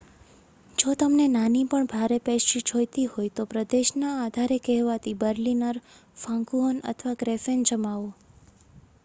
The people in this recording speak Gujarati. જો તમને નાની પણ ભારે પેસ્ટ્રી જોઈતી હોય તો પ્રદેશના આધારે કહેવાતી બર્લિનર ફાંકુહન અથવા ક્રૅફેન જમાવો